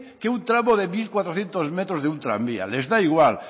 que un tramo de mil cuatrocientos metros de un tranvía les da igual